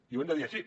i ho hem de dir així